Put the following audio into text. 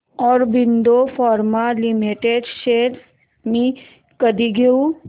Aurobindo pharma limited shares मी कधी घेऊ